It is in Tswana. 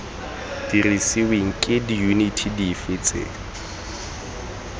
dirisiweng ke diyuniti dife tse